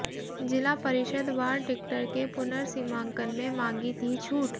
जिला परिषद वार्ड टिक्कर के पुनर्सीमांकन में मांगी थी छूट